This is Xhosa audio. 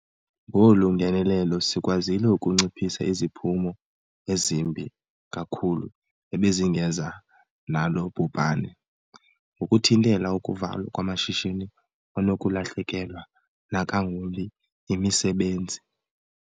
Ngolu ngenelelo sikwazile ukunciphisa iziphumo ezimbi kakhulu ebezingeza nalo bhubhane, ngokuthintela ukuvalwa kwamashishini kwanokulahlekelwa nangakumbi yimisebenzi.